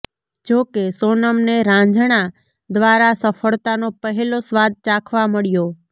જોકે સોનમને રાંઝણા દ્વારા સફળતાનો પહેલો સ્વાદ ચાખવા મળ્યો